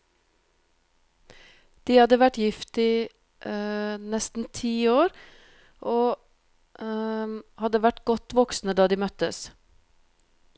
De hadde vært gift i nesten ti år, og hadde vært godt voksne da de møttes.